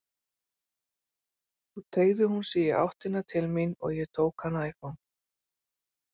Svo teygði hún sig í áttina til mín og ég tók hana í fangið.